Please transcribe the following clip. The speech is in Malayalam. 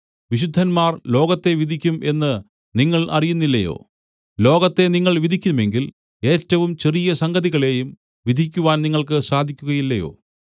വിശുദ്ധന്മാർ ലോകത്തെ വിധിക്കും എന്ന് നിങ്ങൾ അറിയുന്നില്ലയോ ലോകത്തെ നിങ്ങൾ വിധിക്കുമെങ്കിൽ ഏറ്റവും ചെറിയ സംഗതികളെയും വിധിക്കുവാൻ നിങ്ങൾക്ക് സാധിക്കുകയില്ലയോ